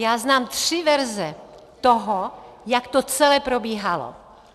Já znám tři verze toho, jak to celé probíhalo.